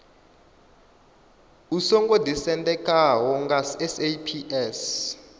u songo ḓisendekaho nga saps